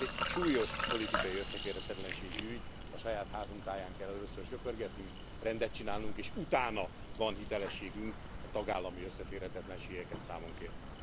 Ez egy súlyos politikai összeférhetetlenségi ügy, a saját házunk táján kell először söprögetnünk, rendet csinálunk, és utána van hitelességünk a tagállami összeférhetetlenségeket számon kérni.